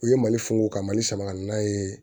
U ye mali funufunu ka mali sama ka na n'a ye